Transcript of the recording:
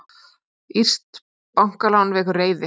Írskt bankalán vekur reiði